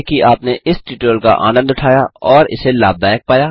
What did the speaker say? आशा है कि आपने इस ट्यूटोरियल का आनन्द उठाया और इसे लाभदायक पाया